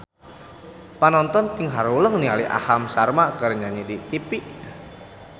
Panonton ting haruleng ningali Aham Sharma keur nyanyi di tipi